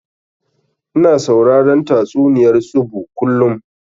Ina sauraron tatsuniyar tsubu kullum